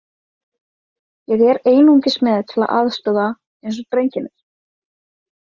Ég er einungis með til að aðstoða, eins og drengirnir.